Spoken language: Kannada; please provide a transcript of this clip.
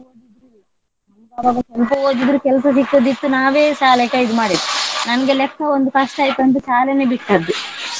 ಎಷ್ಟು ಓದಿದರು ಕೆಲ್ಸ ಸಿಕ್ಕುತ್ತಿದ್ದು ನಾವೇ ಶಾಲೆ ಕೈದು ಮಾಡಿದ್ದು. ನಮ್ಗೆ ಲೆಕ್ಕ ಒಂದು ಕಷ್ಟ ಇತ್ತಂತ ಶಾಲೆನೇ ಬಿಟ್ಟದ್ದು.